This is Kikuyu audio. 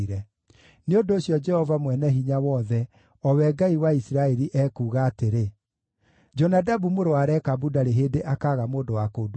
Nĩ ũndũ ũcio, Jehova Mwene-Hinya-Wothe, o we Ngai wa Isiraeli, ekuuga atĩrĩ: ‘Jonadabu mũrũ wa Rekabu ndarĩ hĩndĩ akaaga mũndũ wa kũndungatĩra.’ ”